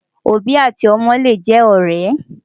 òbí àti ómó lè jé òré